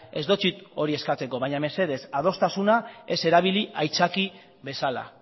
ez dotsut hori eskatuko baina mesedez adostasuna ez erabili aitzaki bezala